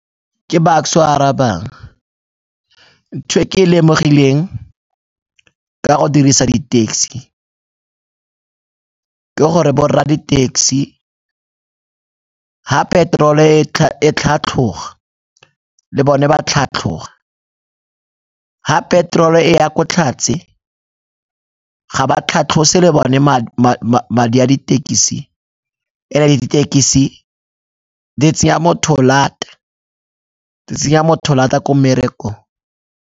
Ke Bucks-e o a arabang, ntho e ke e lemogileng ka go dirisa di-taxi ke gore bo rra di-taxi ga peterolo e tlhatlhoga le bone ba tlhatlhoga, ga peterolo e ya ko tlhatse ga ba tlhatlose le bone madi a ditekisi. And-e ditekisi di tsenya motho lata, di tsenya motho lata ko mmerekong.